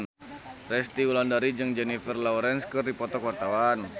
Resty Wulandari jeung Jennifer Lawrence keur dipoto ku wartawan